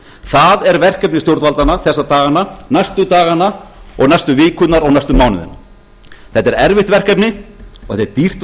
það er verkefni stjórnvaldanna þessa dagana næstu dagana og næstu vikurnar og næstu mánuðina þetta er erfitt verkefni og þetta er dýrt